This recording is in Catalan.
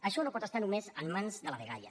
això no pot estar només en mans de la dgaia